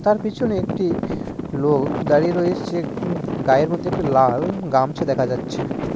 তার পিছনে একটি লোক দাঁড়িয়ে রয়েছে গুম-গায়ের মধ্যে একটি লাল গামছা দেখা যাচ্ছে।